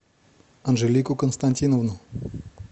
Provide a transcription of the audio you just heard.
анжелику константиновну